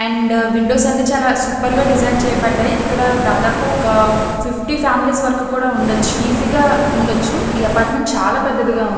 And windows అన్ని చాలా super గా డిజైన్ చేయబడ్డాయి. ఇక్కడ దాదాపు ఒక ఫిఫ్టీ ఫ్యామిలీ స్ వరకు కూడా ఉండొచు కూడా ఈజీ గా ఉండొచ్చు. ఈ అపార్ట్మెంట్ చాలా పెద్దదిగా ఉంది.